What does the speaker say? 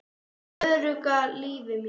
Ögra lífi mínu.